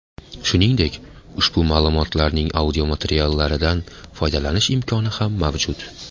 Shuningdek, ushbu ma’lumotlarning audiomateriallaridan foydalanish imkoni ham mavjud.